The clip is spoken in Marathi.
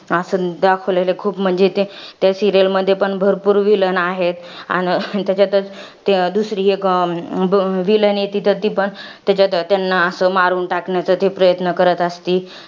असं दाखवलेलं आहे. खूप म्हणजे ते त्या serial मध्ये पण भरपूर villain आहेत. अन त्याच्यातच दुसरी एक अं villain आहे ती तर ती पण त्याच्यात त्यांना असं, मारून टाकण्यासाठी प्रयत्न करत असती.